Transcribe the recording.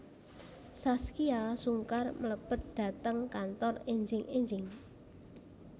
Zaskia Sungkar mlebet dhateng kantor enjing enjing